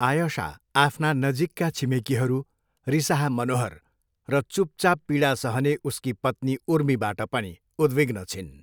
आयशा आफ्ना नजिकका छिमेकीहरू, रिसाहा मनोहर र चुपचाप पीडा सहने उसकी पत्नी उर्मीबाट पनि उद्विग्न छिन्।